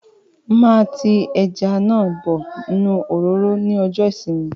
Máa tí ẹja náà bọ inú òróró ní ọjọ ìsinmi